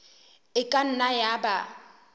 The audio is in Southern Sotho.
e ka nna ya ba